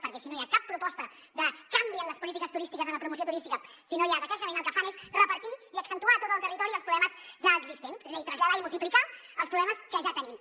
perquè si no hi ha cap proposta de canvi en les polítiques turístiques en la promoció turística si no hi ha decreixement el que fan és repartir i accentuar a tot el territori els problemes ja existents és a dir traslladar i multiplicar els problemes que ja tenim